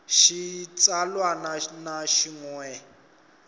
xa xitsalwana na xin we